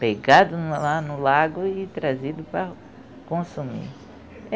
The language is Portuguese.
Pegado lá no lago e trazido para consumir.